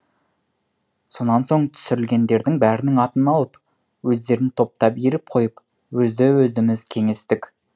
сонан соң түсірілгендердің бәрінің атын алып өздерін топтап иіріп қойып өзді өздіміз кеңестік